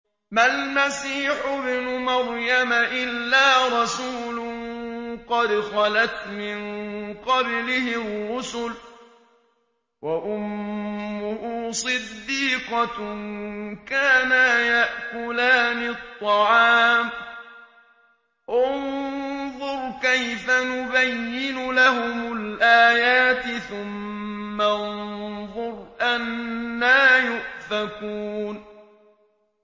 مَّا الْمَسِيحُ ابْنُ مَرْيَمَ إِلَّا رَسُولٌ قَدْ خَلَتْ مِن قَبْلِهِ الرُّسُلُ وَأُمُّهُ صِدِّيقَةٌ ۖ كَانَا يَأْكُلَانِ الطَّعَامَ ۗ انظُرْ كَيْفَ نُبَيِّنُ لَهُمُ الْآيَاتِ ثُمَّ انظُرْ أَنَّىٰ يُؤْفَكُونَ